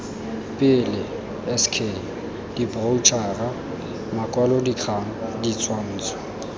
pele sk diboroutšhara makwalodikgang ditshwantsho